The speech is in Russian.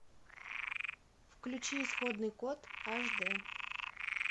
включи исходный код аш дэ